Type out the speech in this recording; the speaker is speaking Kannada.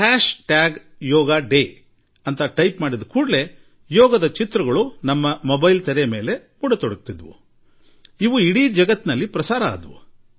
hash tag yoga day tweet ಮಾಡುತ್ತಿದ್ದಂತೆ ಯೋಗ ಕುರಿತ ಚಿತ್ರಗಳು ನಮ್ಮ ಮೊಬೈಲ್ ನಲ್ಲಿ ಬಂದು ಬಿಡುತ್ತಿದ್ದವು ಹಾಗೂ ಇಡೀ ವಿಶ್ವದಲ್ಲಿ ಒಮ್ಮೆಗೇ ಪ್ರಚುರಗೊಂಡವು